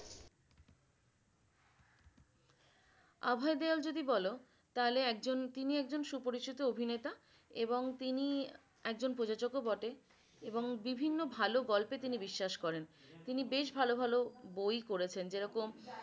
অভয় দেওয়াল যদি বল তাইলে একজন তিনি একজন সুপরিচিত অভিনেতা এবং তিনি একজন প্রযোজক ও বটে এবং বিভিন্ন ভালো গল্পে তিনি বিশ্বাস করেন। তিনি বেশ ভালো ভালো বই করেছেন যে রকম